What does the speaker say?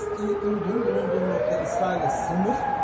Eski ürün günündə İsrailə sınır.